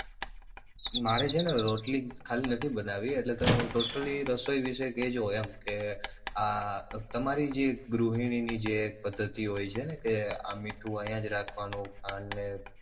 મારે છેને રોટલી ખાલી નથી બનાવી અટલે તમે totally રસોઈ વિષે કેજો એમ કે આ તમારી જે ગૃહિણીની જે પદ્ધતિ હોય છે ને કે આ મીઠું આયા જ રાખવાનું અને